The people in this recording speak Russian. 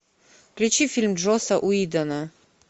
включи фильм джоса уидона